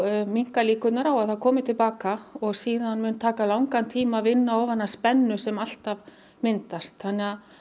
minnka líkurnar á að það komi til baka og síðan mun taka langan tíma að vinna ofan af spennu sem alltaf myndast þannig að